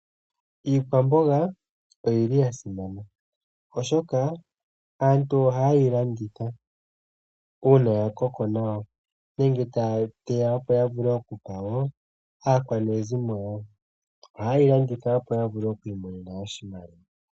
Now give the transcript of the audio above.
Iikwamboga oya simana, oshoka aantu ohaye yi landitha uuna ya koko nawa nenge taya teya opo ya vule okupa woo aakwanezimo yawo. Ohaye yi landitha opo ya vule okuimonena oshimaliwa.